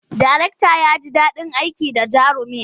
Darektan ya ji daɗin aiki da jarumin.